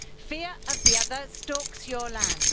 Fear of the other stalks your land.